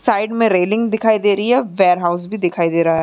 Side में railing दिखाई दे रही है। वेयरहाउस भी दिखाई दे रहा है।